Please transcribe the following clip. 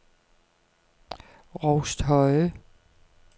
Rousthøje